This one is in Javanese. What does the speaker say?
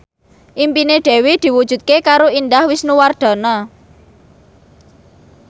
impine Dewi diwujudke karo Indah Wisnuwardana